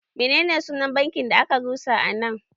Menene sunan banki da a ka rusa a nan?